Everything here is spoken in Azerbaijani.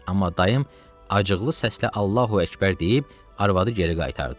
Amma dayım acıqlı səslə Allahu Əkbər deyib arvadı geri qaytardı.